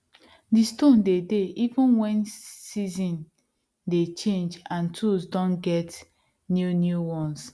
di stone de dey even wen season dey change and tools don get new new one